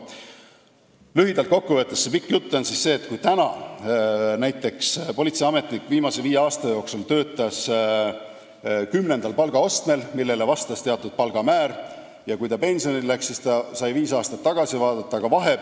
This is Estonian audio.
" Kui see pikk jutt lühidalt kokku võtta, siis see tähendab seda, et kui praegu on politseiametnik viimased viis aastat töötanud näiteks ametikohal, mille palgaaste on 10, millele vastab teatud palgamäär, siis kui ta pensionile läheb, saab ta selles mõttes vaadata viis aastat tagasi.